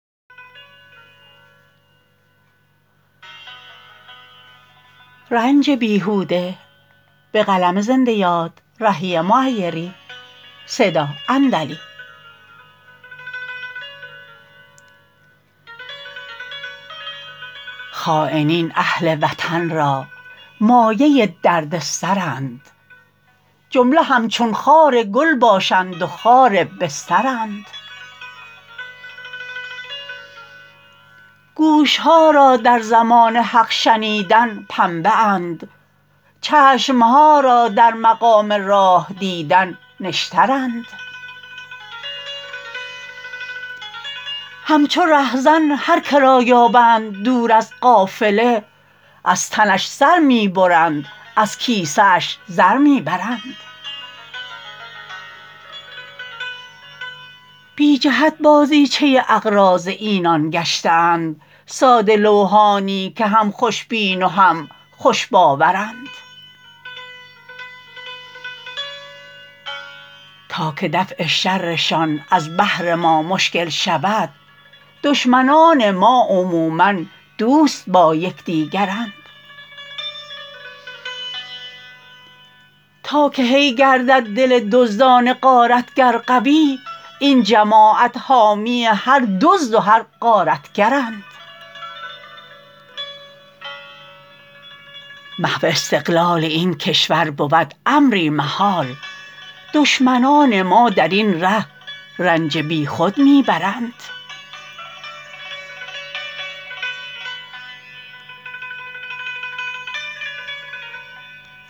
خاینین اهل وطن را مایه دردسرند جمله همچون خار گل باشند و خار بسترند گوش ها را در زمان حق شنیدن پنبه اند چشم ها را در مقام راه دیدن نشترند همچو رهزن هرکه را یابند دور از قافله از تنش سر می برند از کیسه اش زر می برند بی جهت بازیچه اغراض اینان گشته اند ساده لوحانی که هم خوش بین و هم خوش باورند تا که دفع شرشان از بهر ما مشکل شود دشمنان ما عموما دوست با یکدیگرند تا که هی گردد دل دزدان غارتگر قوی این جماعت حامی هر دزد و هر غارتگرند محو استقلال این کشور بود امری محال دشمنان ما درین ره رنج بی خود می برند